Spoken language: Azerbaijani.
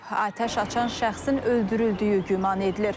Atəş açan şəxsin öldürüldüyü güman edilir.